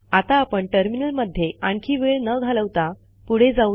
आता आपण टर्मिनलमध्ये आणखी वेळ न घालवता पुढे जाऊया